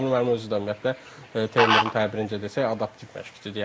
Samir müəllim özü də ümumiyyətlə Teymurun təbirincə desək adaptiv məşqçidir.